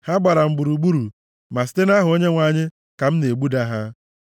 Ha gbara m gburugburu, ma site nʼaha Onyenwe anyị ka m na-egbuda ha.